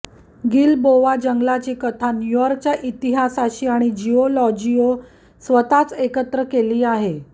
Gilboa जंगलाची कथा न्यू यॉर्कच्या इतिहासाशी आणि जिऑलॉजिओ स्वतःच एकत्र केली आहे